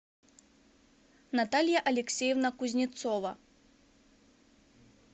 наталья алексеевна кузнецова